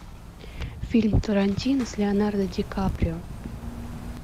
фильм тарантино с леонардо ди каприо